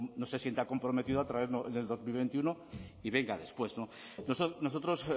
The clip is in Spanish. no se sienta comprometido a traerlo en dos mil veintiuno y venga después nosotros